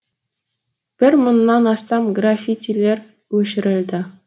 бір мыңнан астам графитилер өшірілді